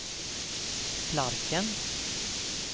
Flarken